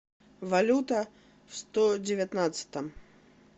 валюта в сто девятнадцатом